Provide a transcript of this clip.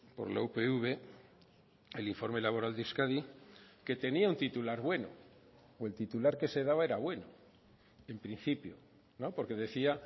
por la upv el informe laboral de euskadi que tenía un titular bueno o el titular que se daba era bueno en principio porque decía